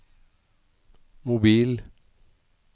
mobil